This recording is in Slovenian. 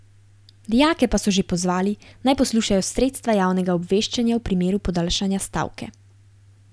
Dijake pa so že pozvali, naj poslušajo sredstva javnega obveščanja v primeru podaljšanja stavke.